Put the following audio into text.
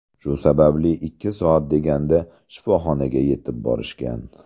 Shu sababli ikki soat deganda shifoxonaga yetib borishgan.